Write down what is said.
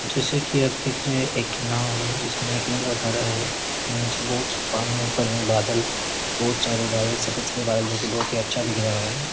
जैसा की आप देख रहे हैं एक नांव है जिसमे एक लड़का खड़ा है इसमें निचे बहुत सा पानी ऊपर में बादल है बहुत सारे बादल सफ़ेद-सफ़ेद बादल जो की बहुत की अच्छा दिख रहा है।